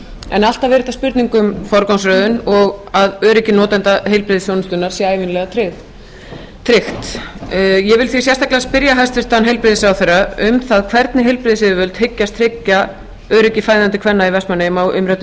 en alltaf er þetta spurning um forgangsröðun og að öryggi notenda heilbrigðisþjónustunnar séu ævinlega tryggt ég vildi sérstaklega spyrja hæstvirtan heilbrigðisráðherra um það hvernig heilbrigðisyfirvöld hyggjast tryggja öryggi fæðandi kvenna í vestmannaeyjum á umræddu